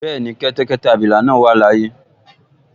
Bẹ́ẹ̀ni, kẹ́tẹ́kẹ́tẹ́ abilà náà wà láyé